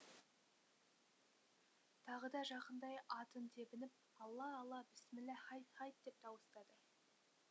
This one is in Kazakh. тағы да жақындай атын тебініп алла алла бісміллә хайт хайт деп дауыстады